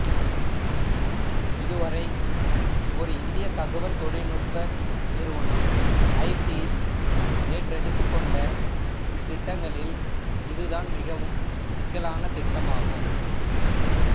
இதுவரை ஒரு இந்திய தகவல் தொழில்நுட்ப நிறுவனம் ஐடி ஏற்றேடுத்துக்கொண்ட திட்டங்களில் இதுதான் மிகவும் சிக்கலான திட்டமாகும்